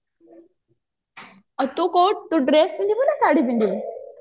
ଆଉ ତୁ dress ପିନ୍ଧିବୁ ନା ଶାଢୀ ପିନ୍ଧିବୁ